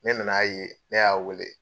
Ne nan'a ye, ne y'a weele